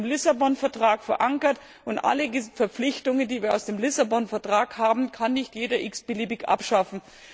Er ist im Lissabon Vertrag verankert, und alle Verpflichtungen, die wir aus dem Lissabon Vertrag haben, kann nicht jeder x beliebig abschaffen.